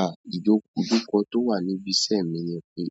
À, ìjo ìjókòó tó wà níbi iṣẹ́ mi ni pé